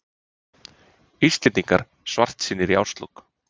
Íslendingar svartsýnir í árslok